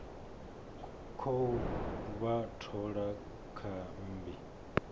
khou vha thola kha mmbi